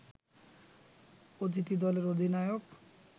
অতিথি দলের অধিনায়ক